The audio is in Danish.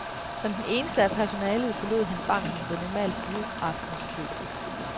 Som den eneste af personalet forlod han banken ved normal fyraftenstid.